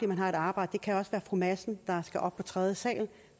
man har et arbejde det kan også være fru madsen der skal op på tredje sal der